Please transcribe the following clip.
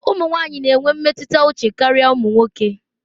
Ụmụ nwanyị na-enwe mmetụta uche karịa ụmụ nwoke.